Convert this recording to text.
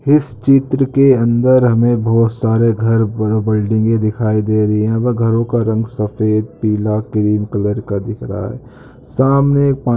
चित्र के अंदर हमे बहोत सारे घर बडे बिल्डिंगे दिखाई दे रही है और घरोका रंग सफ़ेद पीला क्रीम कलर का दिख रहा सामने पानी भरा हुआ हरे रंग--